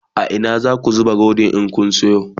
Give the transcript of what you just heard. a Ina zaku zuba Rodin in Kun Sayo?